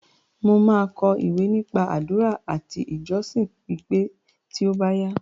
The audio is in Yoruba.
Mo máa kọ ìwé nípa àdúrà àti ìjọsìn pípé tí ó bá yá.